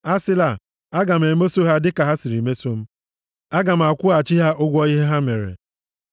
Asịla, “Aga m emeso ha dịka ha siri meso m. Aga m akwụghachi ha ụgwọ ihe ha mere.”